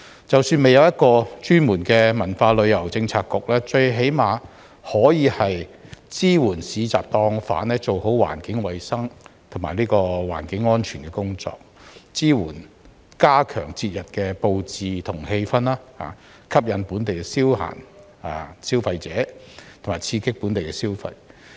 即使未有一個專門的文化旅遊政策局，政府最低限度亦可以支援市集檔販做好環境衞生及環境安全的工作，以及支援他們加強節日布置和氣氛，吸引本地消費者、刺激本地消費。